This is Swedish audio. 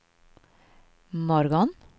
morgon